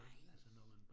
Nej